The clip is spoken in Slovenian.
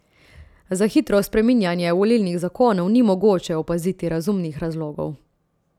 Za hitro spreminjanje volilnih zakonov ni mogoče opaziti razumnih razlogov.